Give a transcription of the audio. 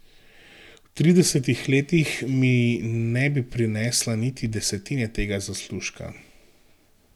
V tridesetih letih mi ne bi prinesla niti desetine tega zaslužka.